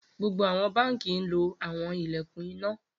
Gbogbo awọn banki lo awọn ilẹkun ina